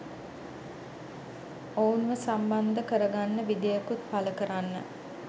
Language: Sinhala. ඔවුන්ව සම්බන්ධ කරගන්න විදියකුත් පල කරන්න.